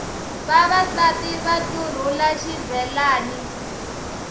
vavasati va ntlurhula xibelani